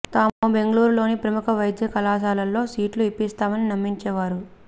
తాము బెంగళూరులోని ప్రముఖ వైద్య కళాశాలల్లో సీట్లు ఇప్పిస్తామని నమ్మించే వారు